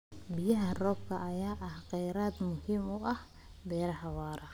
Biyaha roobka ayaa ah kheyraad muhiim u ah beero waara.